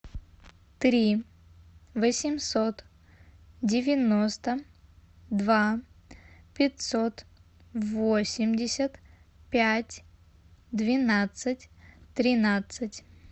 три восемьсот девяносто два пятьсот восемьдесят пять двенадцать тринадцать